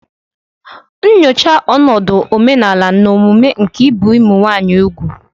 Nyochaa ọnọdụ omenala na omume nke ibi úgwù ụmụ nwanyị.